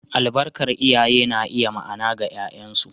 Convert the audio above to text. Albarkar iyaye na iya ma’ana ga ’ya’yansu.